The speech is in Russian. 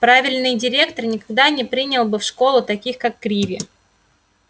правильный директор никогда бы не принял в школу таких как криви